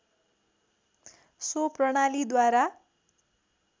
so प्रणालीद्वारा